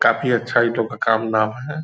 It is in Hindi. काफी अच्छा नाम है।